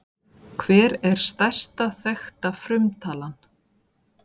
Hver er stærsta þekkta frumtalan?